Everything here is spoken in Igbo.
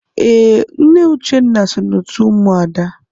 Ee, Nne Uchenna so n'otu ụmụada.